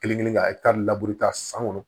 Kelen kelen ka ekitari laburu ta san kɔnɔ